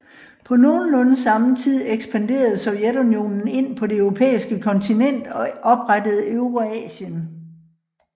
På nogenlunde samme tid ekspanderede Sovjetunionen ind på det europæiske kontinent og oprettede Eurasien